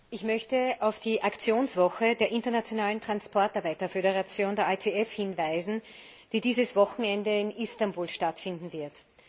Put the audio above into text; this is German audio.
Ich möchte auf die Aktionswoche der Internationalen Transportarbeiterförderation, der ITF, hinweisen, die dieses Wochenende in Istanbul stattfinden wird.